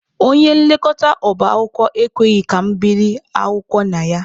Onye nlekọta ọba akwụkwọ ekweghị ka mụ biri akwụkwọ na ya.